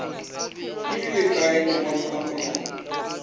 beile kae lengwalo la malao